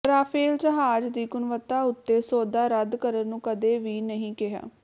Rafale ਜਹਾਜ਼ ਦੀ ਗੁਣਵੱਤਾ ਓਤੇ ਸੌਦਾ ਰੱਦ ਕਰਨ ਨੂੰ ਕਦੇ ਵੀ ਨਹੀਂ ਕਿਹਾ